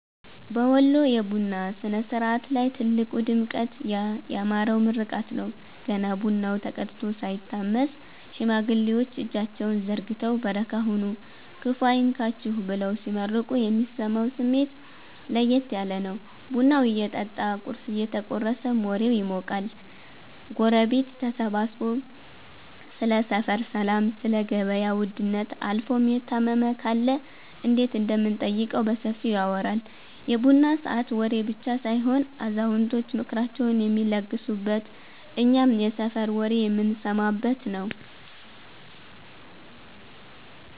በወሎ የቡና ሥነ-ሥርዓት ላይ ትልቁ ድምቀት ያ ያማረው ምርቃት ነው። ገና ቡናው ተቀድቶ ሳይታመስ፣ ሽማግሌዎች እጃቸውን ዘርግተው "በረካ ሁኑ፤ ክፉ አይንካችሁ" ብለው ሲመርቁ የሚሰማው ስሜት ለየት ያለ ነው። ቡናው እየጠጣ ቁርስ እየተቆረሰም ወሬው ይሞቃል። ጎረቤት ተሰብስቦ ስለ ሰፈር ሰላም፣ ስለ ገበያ ውድነት አልፎም የታመመ ካለ እንዴት እንደምንጠይቀው በሰፊው ይወራል። የቡና ሰዓት ወሬ ብቻ ሳይሆን አዛውንቶች ምክራቸውን የሚለግሱበት፤ እኛም የሰፈር ወሬ የምንሰማበት ነዉ።